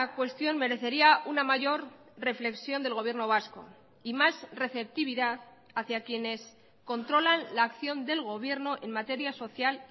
cuestión merecería una mayor reflexión del gobierno vasco y más receptividad hacia quienes controlan la acción del gobierno en materia social